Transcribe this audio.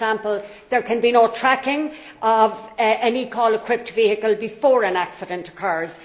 For example, there can be no tracking of any call equipped vehicle before an accident occurs